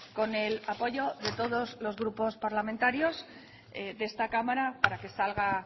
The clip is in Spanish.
con el apoyo de todos los grupos parlamentarios de esta cámara para que salga